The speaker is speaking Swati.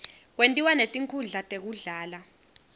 kwentiwa netinkhundla tekudlala